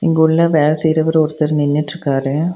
இங்க உள்ள வேல செய்றவரு ஒருத்தர் நின்னுட்டுருக்காரு.